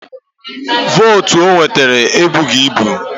Vootu o nwetara ebughi ibu